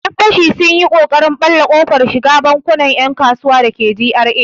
Yan fashi sun yi ƙoƙarin ɓalle kofar shiga bankunan 'yan kasuwa dake GRA.